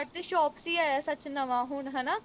ਤੇ shop ਆਇਆ ਸੱਚ ਨਵਾਂ ਹੁਣ ਹਣਾ